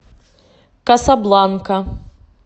касабланка